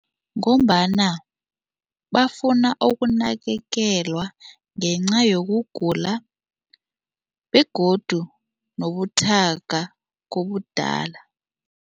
Ngombana bafuna ukunakekelwa ngenca yokugula begodu nobuthaka kobudala.